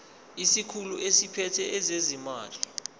isikhulu esiphethe ezezimali